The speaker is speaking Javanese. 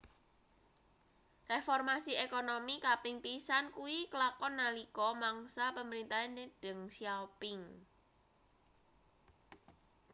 reformasi ekonomi kaping pisan kuwi klakon nalika mangsa pemerintahane deng xiaoping